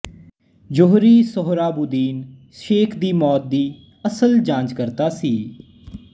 ਜੋਹਰੀ ਸੋਹਰਾਬੂਦੀਨ ਸ਼ੇਖ ਦੀ ਮੌਤ ਦੀ ਅਸਲ ਜਾਂਚਕਰਤਾ ਸੀ